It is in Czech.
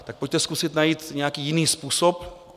Tak pojďte zkusit najít nějaký jiný způsob.